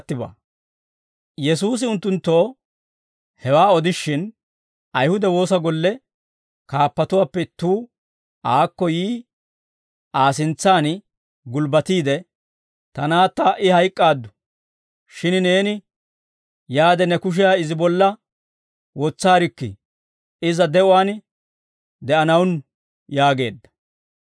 Yesuusi unttunttoo hewaa odishin, Ayihude Woosa Golle kaappatuwaappe ittuu aakko yi Aa sintsaan gulbbatiide, «Ta naatta ha"i hayk'k'aaddu; shin neeni yaade ne kushiyaa izi bolla wotsaarikkii; iza de'uwaan de'anawunnu» yaageedda.